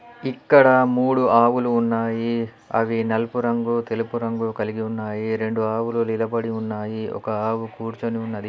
ఇక్కడ మూడు ఆవులు ఉన్నాయి. అవి నలుపు రంగు తెలుపు రంగు కలిగి ఉన్నాయి. రెండు ఆవులు నిలబడి ఉన్నాయి ఒక ఆవు కూర్చొని ఉన్నది.